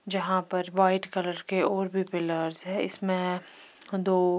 जहा पर white colour के और भी पिल्स है इसमें दो--